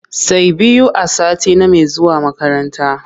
Say biyu a sati name zuwa makaranta.